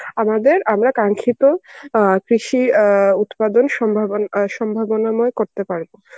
আমাদের আমরা অ্যাঁ কৃষি অ্যাঁ উৎপাদন সম্ভবন অ্যাঁ সম্ভাবনাময় করতে পারব.